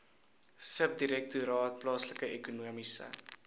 subdirektoraat plaaslike ekonomiese